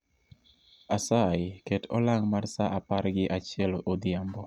Asayi ket olang' mar sa apar gi achiel odhiambo